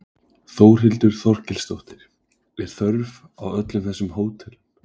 Þórhildur Þorkelsdóttir: Er þörf á öllum þessum hótelum?